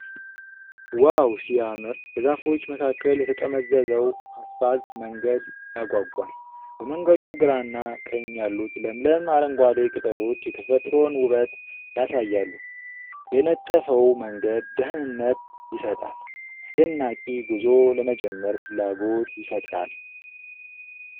ዋው ሲያምር! በዛፎች መካከል የተጠመዘዘው አስፋልት መንገድ ያጓጓል። በመንገዱ ግራና ቀኝ ያሉት ለምለም አረንጓዴ ቅጠሎች የተፈጥሮን ውበት ያሳያሉ። የነጠፈው መንገድ ደህንነት ይሰጣል፣ አስደናቂ ጉዞ ለመጀመር ፍላጎት ይፈጥራል።